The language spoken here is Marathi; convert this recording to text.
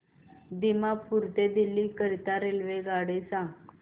दिमापूर ते दिल्ली करीता मला रेल्वेगाडी सांगा